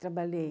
Trabalhei.